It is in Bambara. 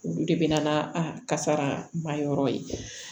Olu de bɛ na a kasara ma yɔrɔ ye